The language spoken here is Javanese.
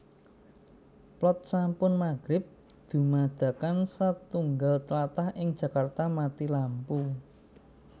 PlotSampun mahrib dumadakan satunggal tlatah ing Jakarta mati lampu